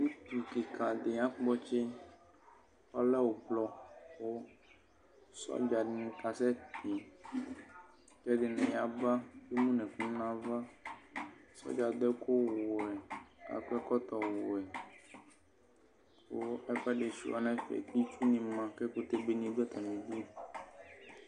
Itsu kika di akpɔtsi ɔlɛ ʋblɔ kʋ sɔdzani kasɛti kʋ ɛdini yaba kʋ emʋnʋ ɛkʋ nʋ ava sɔdza adʋ ɛkʋwɛ akɔ ɛkɔtɔwɛ kʋ ɛkʋɛdi suia nʋ ɛfɛ kʋ itsʋni ma kʋ ɛkʋtɛ beni dʋ atami idʋ